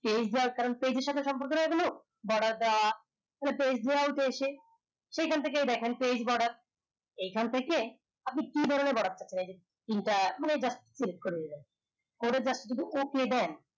page এর সাথে সম্পর্ক না এ গুলো ব্রডার টা page layout এ এসে সে খান থেকে দেখন এখান থেকে আপনি কি ব্রডার করে just